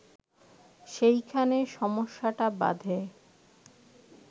সেইখানে সমস্যাটা বাধে